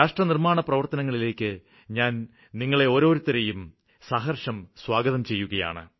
രാഷ്ട്രനിര്മ്മാണപ്രവര്ത്തനങ്ങളിലേയ്ക്ക് ഞാന് നിങ്ങളെയോരോരുത്തരേയും സഹര്ഷം സ്വാഗതം ചെയ്യുകയാണ്